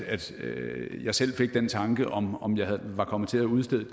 jeg selv fik den tanke om om jeg var kommet til at udstede et